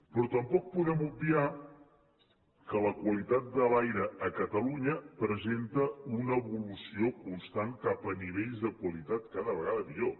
però tampoc podem obviar que la qualitat de l’aire a catalunya presenta una evolució constant cap a nivells de qualitat cada vegada millor